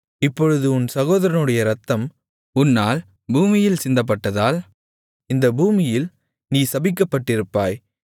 இப்பொழுது உன் சகோதரனுடைய இரத்தம் உன்னால் பூமியில் சிந்தப்பட்டதால் இந்த பூமியில் நீ சபிக்கப்பட்டிருப்பாய்